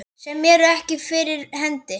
Sem eru ekki fyrir hendi.